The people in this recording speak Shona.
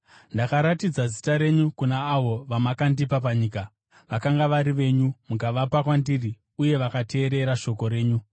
“Ndakaratidza zita renyu kuna avo vamakandipa panyika. Vakanga vari venyu; mukavapa kwandiri uye vakateerera shoko renyu.